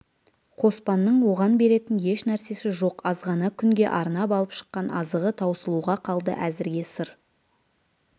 қоспанның оған беретін еш нәрсесі жоқ азғана күнге арнап алып шыққан азығы таусылуға қалды әзірге сыр